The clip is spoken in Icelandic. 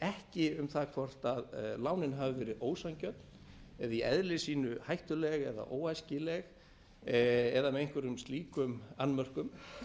ekki um það hvort lánin hafi verið ósanngjörn eða í eðli sínu hættuleg eða óæskileg eða með einhverjum slíkum annmörkum